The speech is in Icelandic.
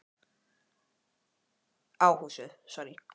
Karen Kjartansdóttir: Svo er búið að skjóta á húsið?